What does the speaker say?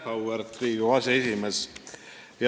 Auväärt Riigikogu aseesimees!